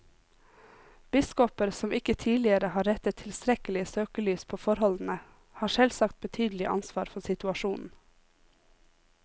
Biskoper som ikke tidligere har rettet tilstrekkelig søkelys på forholdene, har selvsagt betydelig ansvar for situasjonen.